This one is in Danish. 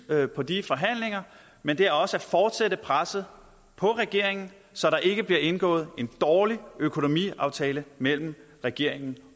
på de forhandlinger men det er også at fortsætte presset på regeringen så der ikke bliver indgået en dårlig økonomiaftale mellem regeringen